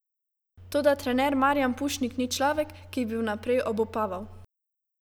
Toda trener Marijan Pušnik ni človek, ki bi vnaprej obupaval.